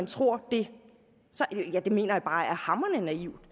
tror det mener jeg bare det er hamrende naivt